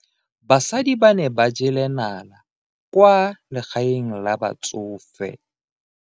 Basadi ba ne ba jela nala kwaa legaeng la batsofe.